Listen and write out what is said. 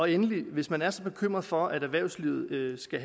endelig hvis man er så bekymret for at erhvervslivet skal